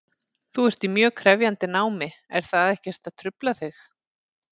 Þú ert í mjög krefjandi námi, er það ekkert að trufla þig?